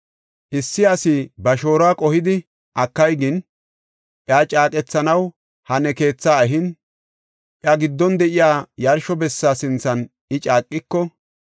“Issi asi ba shooruwa qohidi akay gin, iya caaqethanaw ha ne keethaa ehin, iya giddon de7iya yarsho bessa sinthan I caaqiko,